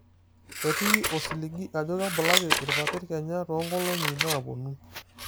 ketii osiligi ajo kebulaki irpapit kenya too nkolong'i naapuonu?